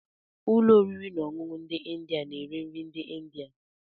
Ụlọ oriri na ọṅụṅụ ndị India na-ere nri ndị India.